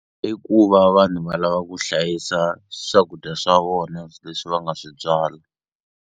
I ku va vanhu va lava ku hlayisa swakudya swa vona leswi va nga swi byala.